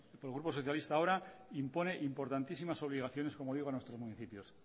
el grupo socialista ahora impone importantísimas obligaciones como digo a nuestros municipios